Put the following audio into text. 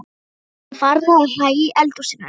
Vinkonurnar voru farnar að hlæja í eldhúsinu.